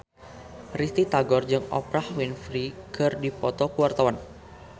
Risty Tagor jeung Oprah Winfrey keur dipoto ku wartawan